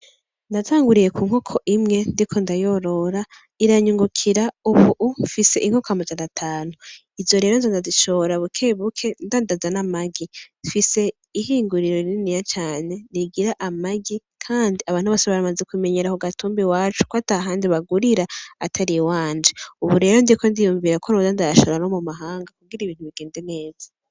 Natanguriye ku nkoko imwe ndiko ndayorora iranyungukira. Ubu mfise inkoko amajana atanu. Izo nkoko ndazishora bukebuke, ndandaza n'amagi. Mfise ihinguriro rininiya cane rigira amagi kandi abantu bose baramaze kumenyera ku gatumba iwacu, ko atahandi bagurira atari iwanje. Ubu rero ndiko niyumvira ko noza ndayashora no mu mahanga kugira ibintu bigende neza.